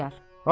İxtiyar.